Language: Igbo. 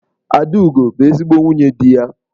Adaugo bu ezigbo nwunye di ya.